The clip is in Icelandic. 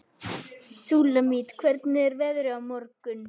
Súlamít, hvernig er veðrið á morgun?